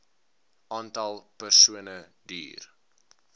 aantal persone duur